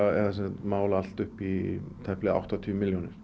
mál allt upp í tæplega áttatíu milljónir